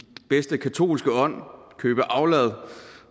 bedste katolske ånd købe aflad